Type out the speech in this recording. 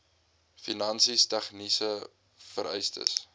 finansies tegniese vereistes